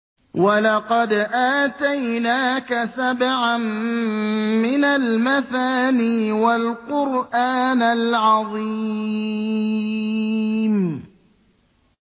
وَلَقَدْ آتَيْنَاكَ سَبْعًا مِّنَ الْمَثَانِي وَالْقُرْآنَ الْعَظِيمَ